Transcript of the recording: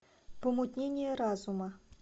помутнение разума